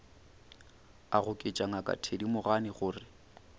a goketša ngaka thedimogane gore